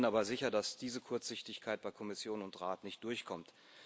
Ich bin aber sicher, dass diese Kurzsichtigkeit bei Kommission und Rat nicht durchkommt.